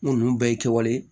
N ko ninnu bɛɛ ye kɛwale